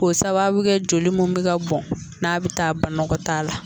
K'o sababu kɛ joli mun bɛ ka bɔn n'a bɛ taa banakɔtaa la.